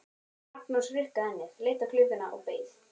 Magnús hrukkaði ennið, leit á klukkuna og beið.